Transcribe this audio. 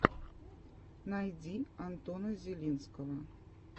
найди антона зелинского